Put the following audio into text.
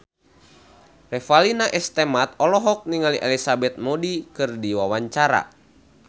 Revalina S. Temat olohok ningali Elizabeth Moody keur diwawancara